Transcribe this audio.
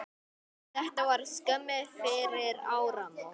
Þetta var skömmu fyrir áramót.